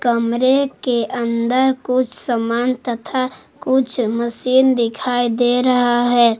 कमरे के अंदर कुछ सामान तथा कुछ मशीन दिखाई दे रहा है।